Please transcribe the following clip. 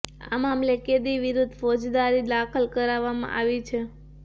આ મામલે કેદી વિરૂદ્ધ ફોજદારી દાખલ કરાવવામાં આવી છે